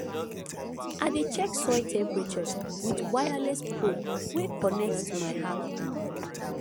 i dey check soil temperature with wireless probe wey connect to my app